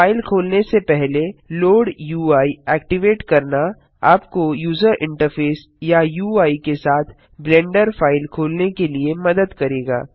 file खोलने से पहले लोड यूआई एक्टिवेट करना आपको यूजर इंटरफेस या यूआई के साथ ब्लेंडर फाइल खोलने के लिए मदद करेगा